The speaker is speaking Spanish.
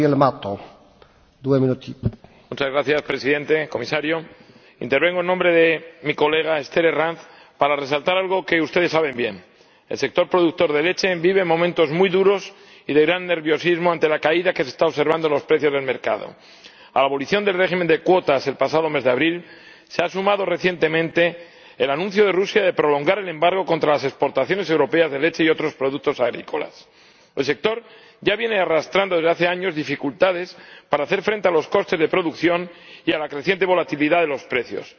Señor Presidente, señor Comisario, intervengo en nombre de la diputada Esther Herranz para resaltar algo que ustedes saben bien. El sector productor de leche vive momentos muy duros y de gran nerviosismo ante la caída que se está observando en los precios del mercado. A la abolición del régimen de cuotas el pasado mes de abril se ha sumado recientemente el anuncio de Rusia de prolongar el embargo contra las exportaciones europeas de leche y otros productos agrícolas. El sector ya viene arrastrando, desde hace años, dificultades para hacer frente a los costes de producción y a la creciente volatilidad de los precios.